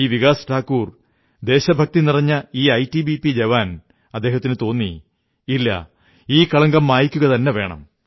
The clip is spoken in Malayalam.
ഈ വികാസ് ഠാകുർ ദേശഭക്തി നിറഞ്ഞ ഈ ഐടിബിപി ജവാനു തോന്നി ഇല്ല ഈ കളങ്കം മായ്ക്കുകതന്നെ വേണം